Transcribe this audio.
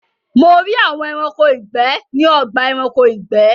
Mo rí àwọn Ẹranko ìgbẹ́ ní ọgbà Ẹranko ìgbẹ́